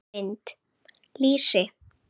Mynd: Lýsi.